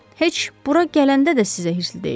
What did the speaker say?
Heç bura gələndə də sizə hirsli deyildim.